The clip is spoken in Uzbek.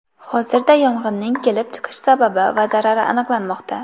Hozirda yong‘inning kelib chiqish sababi va zarari aniqlanmoqda.